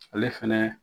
Ale fɛnɛ